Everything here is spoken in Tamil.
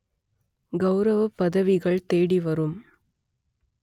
கௌரவப் பதவிகள் தேடி வரும்